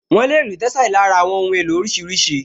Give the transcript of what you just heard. Wọ́n lè rí tẹ́sàlí lára àwọn ohun èlò oríṣiríṣi